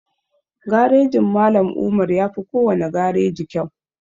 Garejin Mallam Umar yafi kowane gareji kyau